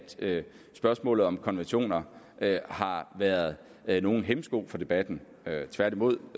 spørgsmålet om konventioner har været været nogen hæmsko for debatten tværtimod